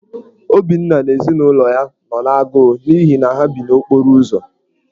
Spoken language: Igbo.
Obinna na ezinụlọ ya nọ n’agụụ n’ihi na ha bi n’okporo ụzọ.